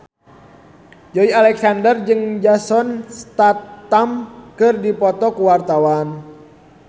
Joey Alexander jeung Jason Statham keur dipoto ku wartawan